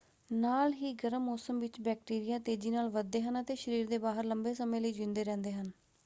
ਨਾਲ ਹੀ ਗਰਮ ਮੌਸਮ ਵਿੱਚ ਬੈਕਟੀਰੀਆਂ ਤੇਜ਼ੀ ਨਾਲ ਵੱਧਦੇ ਹਨ ਅਤੇ ਸਰੀਰ ਦੇ ਬਾਹਰ ਲੰਬੇ ਸਮੇਂ ਲਈ ਜੀਉਂਦੇ ਰਹਿੰਦੇ ਹਨ।